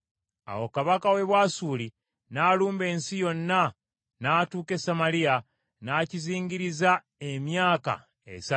Awo kabaka w’e Bwasuli n’alumba ensi yonna, n’atuuka e Samaliya, n’akizingiriza emyaka esatu.